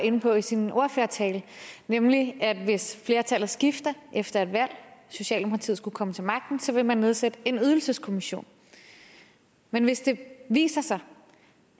inde på i sin ordførertale nemlig at hvis flertallet skifter efter et valg og socialdemokratiet skulle komme til magten så vil man nedsætte en ydelseskommission men hvis det viser sig